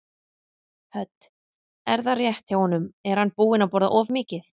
Hödd: Er það rétt hjá honum, er hann búinn að borða of mikið?